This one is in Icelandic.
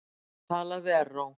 Talað við Erró.